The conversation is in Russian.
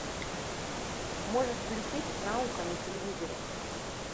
можешь включить наука на телевизоре